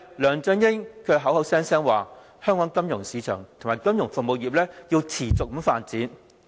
梁振英口口聲聲說，香港金融市場及金融服務業要持續發展。